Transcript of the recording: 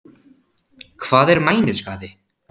Hvað er mænuskaði?